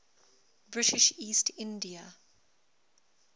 british east india